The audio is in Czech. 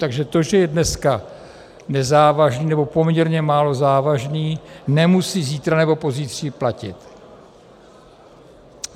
Takže to, že je dneska nezávažný, nebo poměrně málo závažný, nemusí zítra nebo pozítří platit.